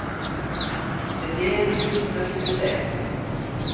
syttien tusen og tjueseks